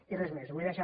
i res més ho vull deixar